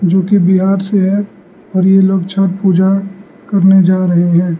जोकि बिहार से है और ये लोग छठ पूजा करने जा रहे हैं।